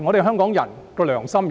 香港人的良心何在？